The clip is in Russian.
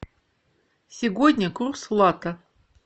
сегодня курс лата